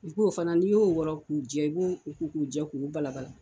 I k'o fana n'i y'o wɔrɔ k'u jɛ ka b'u ko k'u jɛ k'u balaba la.